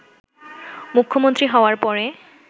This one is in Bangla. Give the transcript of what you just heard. মুখ্যমন্ত্রী হওয়ার পরে